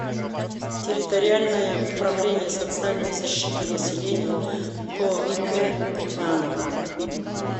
территориальное управление социальной защиты населения по г иваново